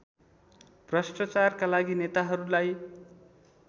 भ्रष्टाचारका लागि नेताहरूलाई